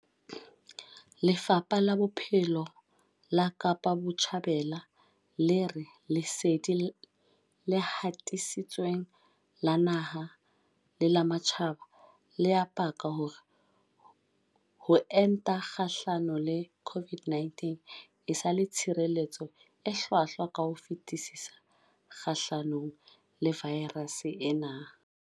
Lefapha la Bophelo la Kapa Botjhabela le re lesedi le hatisitsweng la naha le la matjhaba le a paka hore ho enta kgahlano le COVID-19 e sa le tshireletso e hlwahlwa ka ho fetisisa kgahlano le vaerase ena.